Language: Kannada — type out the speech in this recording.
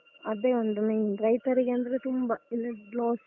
ಅದೇ ಒಂದ್ main ರೈತರಿಗಂದ್ರೆ ತುಂಬ ಇಲ್ಲದಿದ್ರೆ loss.